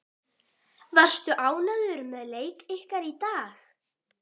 Varstu ánægður með leik ykkar í dag?